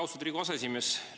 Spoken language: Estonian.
Austatud Riigikogu aseesimees!